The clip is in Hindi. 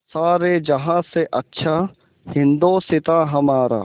सारे जहाँ से अच्छा हिन्दोसिताँ हमारा